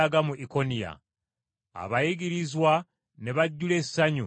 Abayigirizwa ne bajjula essanyu ne Mwoyo Mutukuvu.